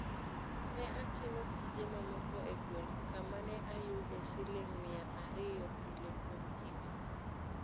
"Ne atimo tije mamoko e gweng' kama ne ayude siling mia ario pile kuom higni.